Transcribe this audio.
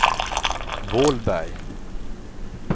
Vålberg